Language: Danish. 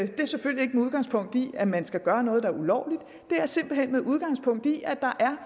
det er selvfølgelig ikke med udgangspunkt i at man skal gøre noget der er ulovligt det er simpelt hen med udgangspunkt i at der er